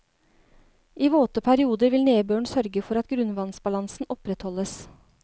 I våte perioder vil nedbøren sørge for at grunnvannsbalansen opprettholdes.